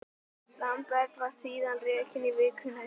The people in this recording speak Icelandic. Lambert var síðan rekinn í vikunni.